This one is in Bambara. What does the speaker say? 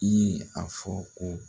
I ye a fɔ ko